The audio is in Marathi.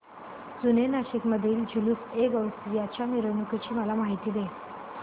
जुने नाशिक मधील जुलूसएगौसिया च्या मिरवणूकीची मला माहिती दे